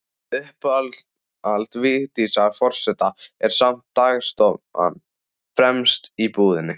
Uppáhald Vigdísar forseta er samt dagstofan, fremst í íbúðinni.